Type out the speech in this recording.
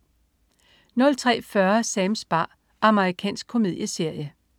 03.40 Sams bar. Amerikansk komedieserie